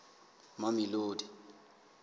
mamelodi